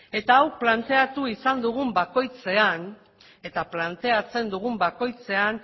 eta hau planteatu izan dugun bakoitzean eta planteatzen dugun bakoitzean